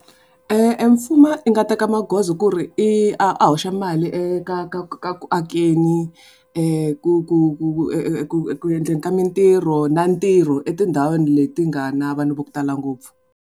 Emfumo i nga teka magoza ku ri i a a hoxa mali ka ka ka ku akeni ku ku ku ku endleni ka mintirho na ntirho etindhawini leti nga na vanhu vo tala ngopfu.